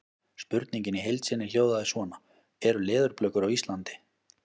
Spurningin í heild sinni hljóðaði svona: Eru leðurblökur á Íslandi?